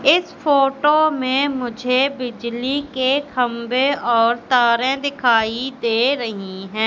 इस फोटो में मुझे बिजली के खंभे और तारे दिखाई दे रही है।